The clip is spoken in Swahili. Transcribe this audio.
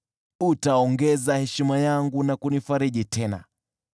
Utaongeza heshima yangu na kunifariji tena.